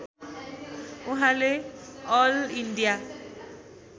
उहाँले all India